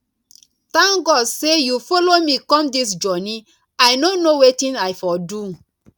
thank god say you follow me come dis journey i no know wetin i for do